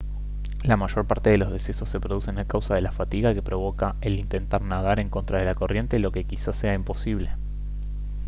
la mayor parte de los decesos se producen a causa de la fatiga que provoca el intentar nadar en contra de la corriente lo que quizás sea imposible